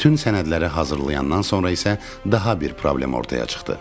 Bütün sənədləri hazırlayandan sonra isə daha bir problem ortaya çıxdı.